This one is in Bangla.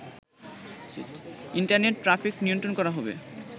ইন্টারনেট ট্রাফিক নিয়ন্ত্রণ করা হবে